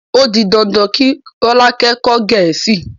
O di dandan kí Rọ́lákẹ́ kọ́ Gẹ̀ẹ́sì.